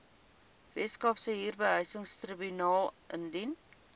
weskaapse huurbehuisingstribunaal indien